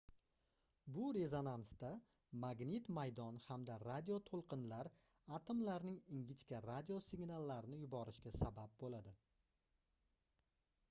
bu rezonansda magnit maydon hamda radio toʻlqinlar atomlarning ingichka radio signallarni yuborishiga sabab boʻladi